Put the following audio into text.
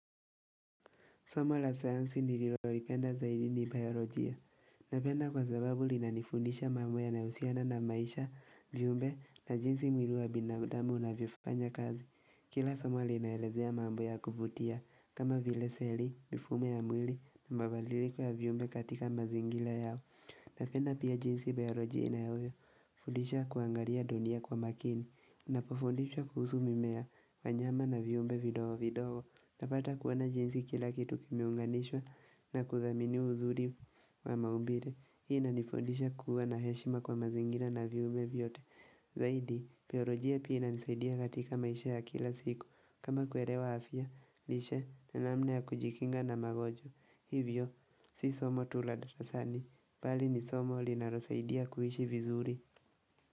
Somo la sayansi nililolipenda zaidi ni biolojia. Napenda kwa sababu linanifundisha mambo yanayohusiana na maisha, viumbe na jinsi mwili wa binadamu unavyofanya kazi. Kila somo linaelezea mambo ya kuvutia, kama vile seli, mifumo ya mwili na mabadiliko ya vyumbe katika mazingira yao. Napenda pia jinsi biolojia inavyofundisha kuangalia dunia kwa makini, Ninapofundishwa kuhusu mimea na wanyama na viumbe vidogo vidogo unapata kuona jinsi kila kitu kimeunganishwa na kudhaminiwa uzuri wa maumbile Hii inanifundisha kuwa na heshima kwa mazingira na viumbe vyote Zaidi, biolojia pia inisaidia katika maisha ya kila siku kama kuelewa afya, lishe, na namna ya kujikinga na magonjwa Hivyo, si somo tu la darasani, bali ni somo linalosaidia kuishi vizuri.